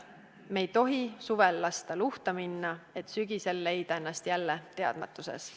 Me ei tohi suvel lasta luhta minna, et sügisel leida ennast jälle teadmatuses.